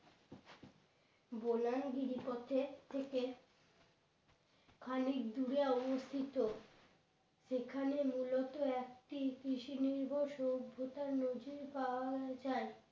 বানান গিরি পথে থেকে খানিক দূরে অবস্থিত সেখানে মূলত একটি কৃষি নির্ভর সভ্যতার নজীর পাওয়া যাই